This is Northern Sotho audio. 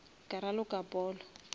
ka raloka polo